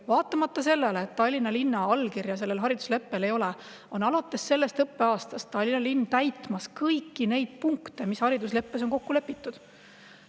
Vaatamata sellele, et Tallinna linna allkirja sellel haridusleppel ei ole, on alates sellest õppeaastast Tallinna linn täitmas kõiki neid punkte, mis on haridusleppes kokku lepitud.